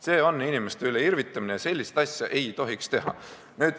See on inimeste üle irvitamine, sellist asja ei tohiks teha.